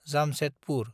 Jamshedpur